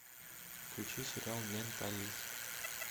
включи сериал менталист